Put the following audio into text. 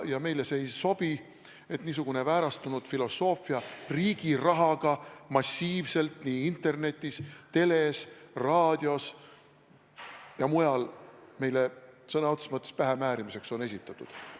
Meile ei sobi, et niisugust väärastunud filosoofiat on riigi raha eest massiivselt internetis, teles, raadios ja mujal meile sõna otseses mõttes pähemäärimiseks esitatud.